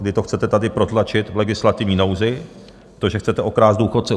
Vy to chcete tady protlačit v legislativní nouzi, to, že chcete okrást důchodce.